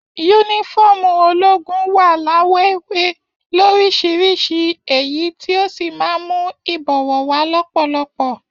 Yúnífọ̀ọ́mù ológun wa lawọ ewé lorisirisi èyí tí o sí máa n mú ibọwọ wa lọpọlọpọ.